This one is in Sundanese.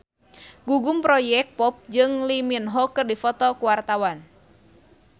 Gugum Project Pop jeung Lee Min Ho keur dipoto ku wartawan